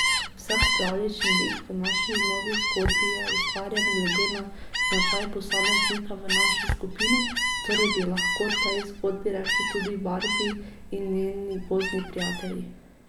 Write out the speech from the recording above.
Vsak pravljični lik v naši novi zgodbi je ustvarjen glede na značaj posameznika v naši skupini, torej bi lahko tej zgodbi rekli tudi Barbi in njeni gozdni prijatelji.